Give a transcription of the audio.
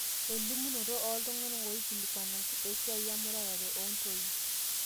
elimunoto ooltung'anak ooikilikuanaki esiaaii emurata oontoyie